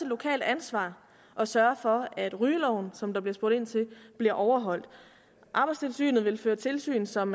lokalt ansvar at sørge for at rygeloven som der bliver spurgt ind til bliver overholdt arbejdstilsynet vil føre tilsyn som